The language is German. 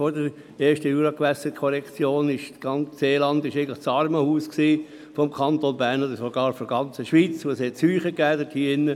Vor der ersten Juragewässerkorrektion war das ganze Seeland eigentlich das Armenhaus des Kantons Bern oder sogar der ganzen Schweiz, und es gab dort Seuchen.